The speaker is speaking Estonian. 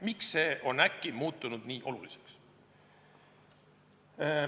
Miks see on äkki muutunud nii oluliseks?